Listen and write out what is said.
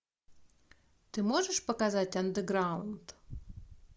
ты можешь показать андеграунд